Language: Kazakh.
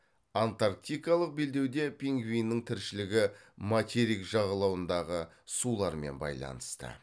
антарктикалық белдеуде пингвиннің тіршілігі материк жағалауындағы сулармен байланысты